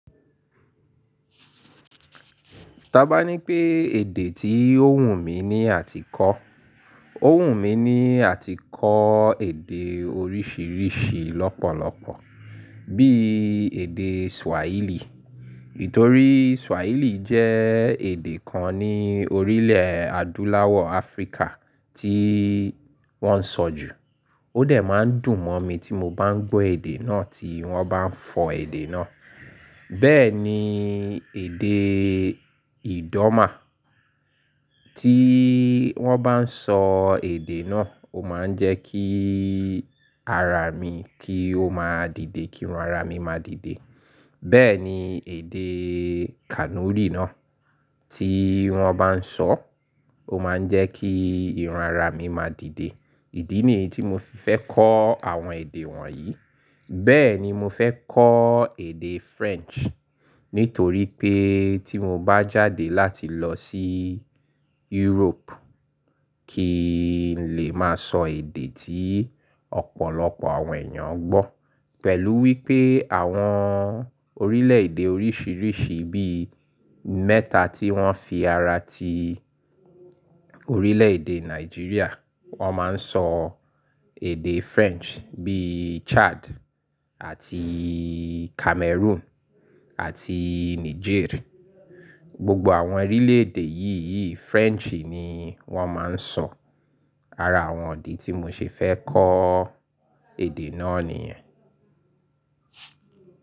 Taba ní pé èdè tí ó wùn mí ní àtíkọ. Ó wù mí ní àtíkọ èdè oríṣìíríṣìí lọ́pọ̀lọpọ̀, bí i èdè Swahili. Nítorí Swahili jẹ́ èdè kan ní orílẹ̀ Adúláwọ̀ Áfríkà tí wọ́n ń sọ jù. Ó dẹ̀ máa ń dùn mọ́ mi tí mo bá ń gbọ́ èdè náà tí wọ́n bá ń fọ èdè náà. Bẹ́ẹ̀ ni èdè Idoma. Tí wọ́n bá ń sọ èdè náà, ó máa ń jẹ́ kí ara mi kí ó máa dìde, kírun ara mi máa dìde. Bẹ́ẹ̀ ni èdè Kanuri náà. Tí wọ́n bá ń sọ, ó máa ń jẹ́ kí irun ara mi máa dìde. Ìdí nìyí tí mo fi fẹ́ kọ́ àwọn èdè wọ̀nyí. Bẹ́ẹ̀ ni mo fẹ́ kọ́ èdè French. Nítorí pé tí mo bá jáde láti lọ sí Europe, kí n lè máa sọ èdè tí ọ̀pọ̀lọpọ̀ àwọn èèyàn ń gbọ́. Pẹ̀lú wípé àwọn orílẹ̀ èdè oríṣìíríṣìí bí i mẹ́ta tí wọ́n fi ara ti orílẹ̀ èdè Nàìjíríà, wọ́n máa ń sọ èdè French, bí i Chad àti Cameroon àti Niger. Gbogbo àwọn orílẹ̀ èdè yíyí French ni wọ́n máa ń sọ. Ara àwọn ìdí tí mo ṣe fẹ́ kọ́ èdè náà nìyẹn.